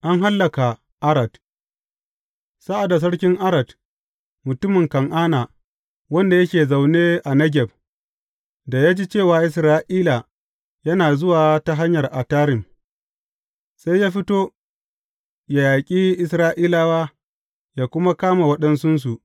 An hallaka Arad Sa’ad da sarkin Arad, mutumin Kan’ana, wanda yake zaune a Negeb, da ya ji cewa Isra’ila yana zuwa ta hanyar Atarim, sai ya fito, yă yaƙi Isra’ilawa, yă kuma kama waɗansunsu.